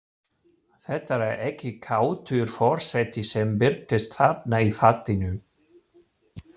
Þetta er ekki kátur forseti sem birtist þarna í fatinu.